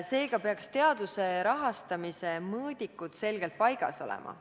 Seega peaks teaduse rahastamise mõõdikud selgelt paigas olema.